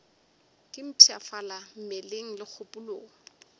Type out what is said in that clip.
ke mpshafala mmeleng le kgopolong